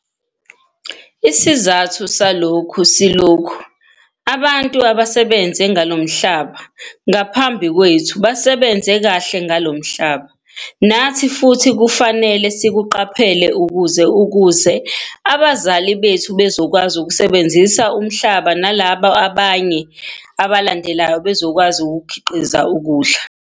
Isizathu salokhu silokhu- abantu abasebenze ngalomhlaba ngaphambi kwethu basebenze kahle ngalo mhlaba. Nathi futhi kufanele sikuqhaphele ukuze ukuze abazali bethu bazokwazi ukusebenzisa umhlaba nalaba abanye abalandelayo bazokwazi ukukhiqiza ukudla.